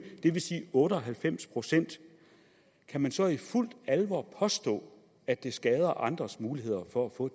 det vil sige otte og halvfems procent kan man så i fuldt alvor påstå at det skader andres muligheder for at få